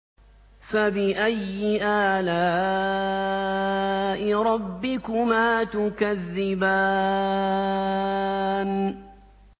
فَبِأَيِّ آلَاءِ رَبِّكُمَا تُكَذِّبَانِ